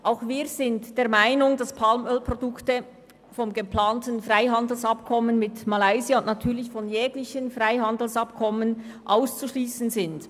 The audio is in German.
Auch wir sind der Meinung, dass Palmölprodukte vom geplanten Freihandelsabkommen mit Malaysia und natürlich von jeglichen Freihandelsabkommen auszuschliessen sind.